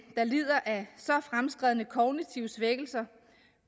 der lider af så fremskredne kognitive svækkelser